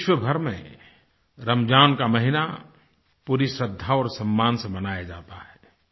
विश्वभर में रमज़ान का महीना पूरी श्रद्धा और सम्मान से मनाया जाता है